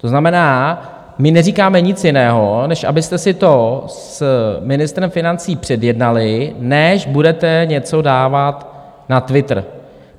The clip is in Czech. To znamená, my neříkáme nic jiného, než abyste si to s ministrem financí předjednali, než budete něco dávat na Twitter.